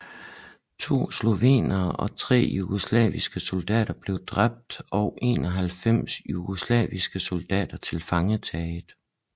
To slovenere og tre jugoslaviske soldater blev dræbt og 91 jugoslaviske soldater tilfangetaget